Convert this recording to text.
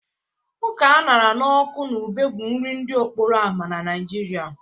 Ọka a ṅara n'ọkụ na ube bụ nri ndị okporo ámá na Nigeria